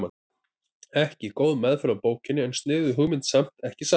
Ekki góð meðferð á bókinni en sniðug hugmynd samt, ekki satt?